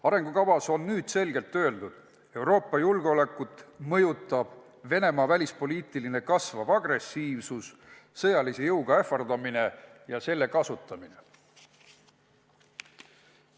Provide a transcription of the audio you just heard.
Arengukavas on selgelt öeldud: Euroopa julgeolekut mõjutab Venemaa kasvav välispoliitiline agressiivsus, sõjalise jõuga ähvardamine ja selle kasutamine.